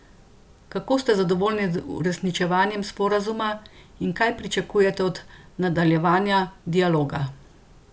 Kako ste zadovoljni z uresničevanjem sporazuma in kaj pričakujete od nadaljevanja dialoga?